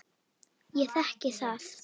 Ég þekki það.